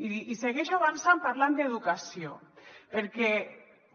i segueixo avançant parlant d’educació perquè